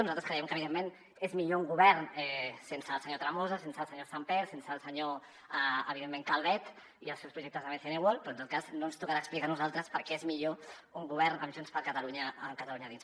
nosaltres creiem que evidentment és millor un govern sense el senyor tremosa sense el senyor sàmper sense el senyor evidentment calvet i els seus projectes a bcn world però en tot cas no ens tocarà explicar a nosaltres per què és millor un govern amb junts per catalunya a catalunya a dins